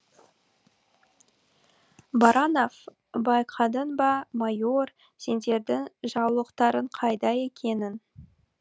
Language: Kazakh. баранов байқадың ба майор сендердің жаулықтарың қайда екенін